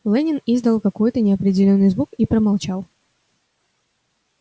лэннинг издал какой-то неопределённый звук и промолчал